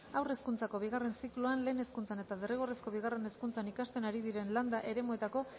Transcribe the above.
haur hezkuntzako bigarren zikloan lehen hezkuntzan eta derrigorrezko bigarren hezkuntzan ikasten ari diren landa eremuetako